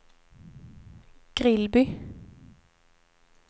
Grillby